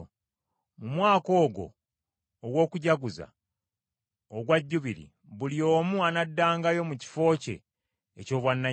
“Mu mwaka ogwo ogw’okujaguza ogwa Jjubiri buli omu anaddangayo mu kifo kye eky’obwannannyini.